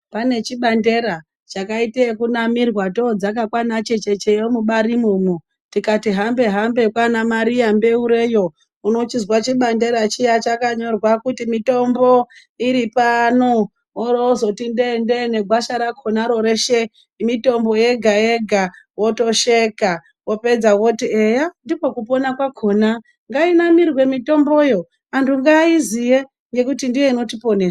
Pane chibandera chakaite yekunamirwa todzake kwana chechecheyo mubari mwomwo. Tikati hambe-hambe kwana mariya mbeureyo unochizwa chibandera chiya chakanyorwa kuzi mitombo iripano, oro vazoti ndee-ndee negwasha rakonaro reshe mitombo yega-yega, votosheka vopedza voti eya ndiko kupona kwakona nganamirwe mutomboyo antu ngaiziye ngekuti ndiyo inotiponesa.